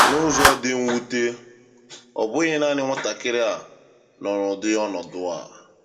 N’ụzọ dị mwute, ọ bụghị naanị nwatakịrị a nọ n’ụdị ọnọdụ a.